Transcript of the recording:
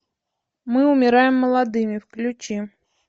мы умираем молодыми включи